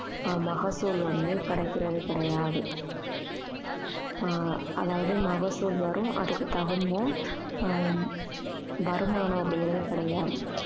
ஆஹ் மகசூல் வந்து கிடைக்கிறது கிடையாது ஆஹ் அதாவது மகசூல் வரும் அதுக்கு தகுந்த ஆஹ் வருமானம் அப்படிங்கறது கிடையாது